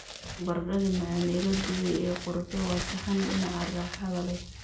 Baradhada macaan ee la dubay ee qorfe waa saxan dhinaca raaxada leh.